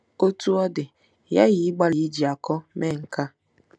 Otú ọ dị, ị ghaghị ịgbalị iji akọ mee nke a.